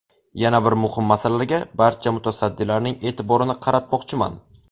Yana bir muhim masalaga barcha mutasaddilarning e’tiborini qaratmoqchiman.